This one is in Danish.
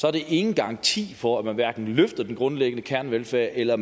er det ingen garanti for at man hverken løfter den grundlæggende kernevelfærd eller